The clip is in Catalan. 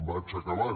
vaig acabant